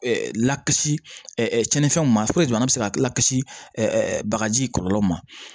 Lakisi ɛɛ cɛnɛnfɛnw ma puruke an be se ka lakisi ɛɛ bagaji kɔlɔlɔ ma